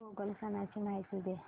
पोंगल सणाची माहिती दे